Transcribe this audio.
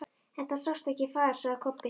En það sást ekkert far, sagði Kobbi.